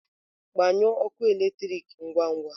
Gbanyụọ ọkụ eletrik ngwa ngwa!